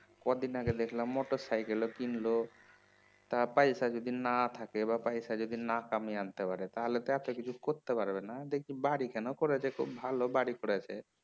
কদিন আগে দেখলাম মোটর সাইকেলও কিনল তা পয়সা যদি না থাকে বা পয়সা যদি না কামিয়ে আনতে পারে তাহলে তো এত কিছু করতে পারবেনা দেখি বাড়িখানা করেছে খুব ভালো বাড়ি করেছে